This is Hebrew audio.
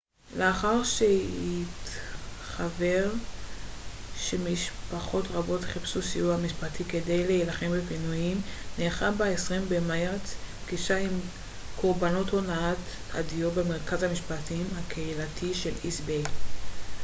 לאחר שהתחוור שמשפחות רבות חיפשו סיוע משפטי כדי להילחם בפינויים נערכה ב-20 במרץ פגישה עם קרבנות הונאת הדיור במרכז המשפטים הקהילתי של איסט ביי